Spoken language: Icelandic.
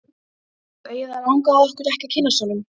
Og eiginlega langaði okkur ekki að kynnast honum.